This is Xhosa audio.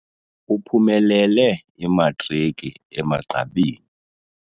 Uphumelele imatriki emagqabini.